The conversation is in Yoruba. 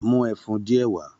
Mú ẹfun diẹ wá!